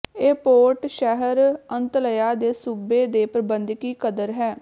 ਇਹ ਪੋਰਟ ਸ਼ਹਿਰ ਅੰਤਲਯਾ ਦੇ ਸੂਬੇ ਦੇ ਪ੍ਰਬੰਧਕੀ ਕਦਰ ਹੈ